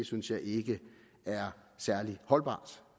synes jeg ikke er særlig holdbart